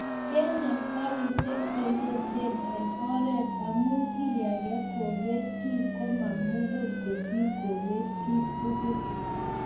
kenem karishek chayachen eng oret amu keygei kebeet kiy komamugul kosiir kebet kiy tugul